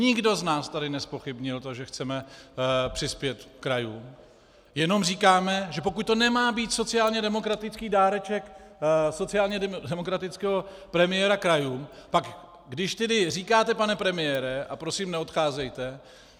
Nikdo z nás tady nezpochybnil to, že chceme přispět krajům, jenom říkáme, že pokud to nemá být sociálně demokratický dáreček sociálně demokratického premiéra krajům, pak když tedy říkáte, pane premiére - a prosím neodcházejte...